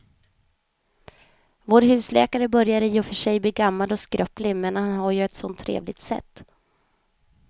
Vår husläkare börjar i och för sig bli gammal och skröplig, men han har ju ett sådant trevligt sätt!